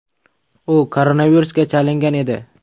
U koronavirusga chalingan edi.